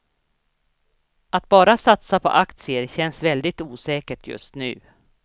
Att bara satsa på aktier känns väldigt osäkert just nu.